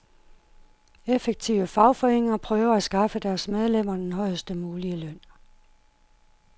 Effektive fagforeninger prøver at skaffe deres medlemmer den højest mulige løn.